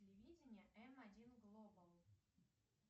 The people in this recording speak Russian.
телевидение м один глобал